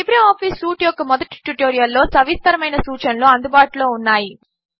LibreOffice suite యొక్క మొదటి ట్యుటోరియల్లో సవిస్తరమైన సూచనలు అందుబాటులో ఉన్నాయి